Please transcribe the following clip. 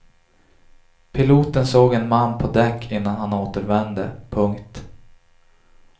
Piloten såg en man på däck innan han återvände. punkt